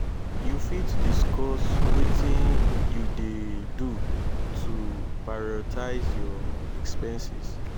you fit discuss wetin you dey do to prioritize your expenses?